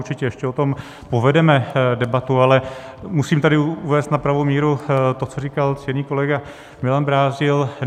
Určitě ještě o tom povedeme debatu, ale musím tady uvést na pravou míru to, co říkal ctěný kolega Milan Brázdil.